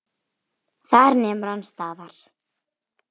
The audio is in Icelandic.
Þar nemur hann staðar.